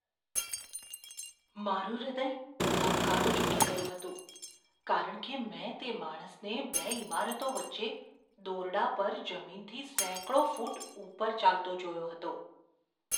મારું હૃદય ધબકારો ચૂકી ગયું હતું, કારણ કે મેં તે માણસને બે ઇમારતો વચ્ચે દોરડા પર જમીનથી સેંકડો ફૂટ ઉપર ચાલતો જોયો હતો.